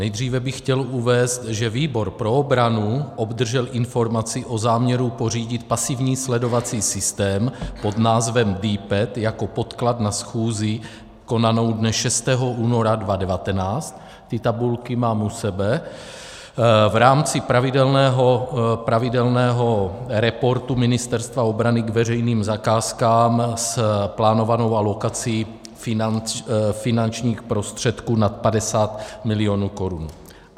Nejdříve bych chtěl uvést, že výbor pro obranu obdržel informaci o záměru pořídit pasivní sledovací systém pod názvem DPET jako podklad na schůzi konanou dne 6. února 2019, ty tabulky mám u sebe, v rámci pravidelného reportu Ministerstva obrany k veřejným zakázkám s plánovanou alokací finančních prostředků nad 50 milionů korun.